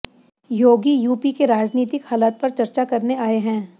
योगी UP के राजनीतिक हालात पर चर्चा करने आए हैं